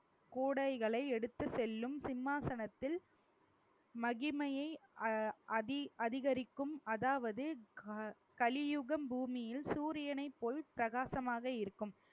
கூடைகளை எடுத்துசெல்லும் சிம்மாசனத்தில் மகிமையை அ~ அதிகரிக்கும் அதாவது க~ கலியுகம் பூமியில் சூரியனை போல் பிரகாசமாக இருக்கும்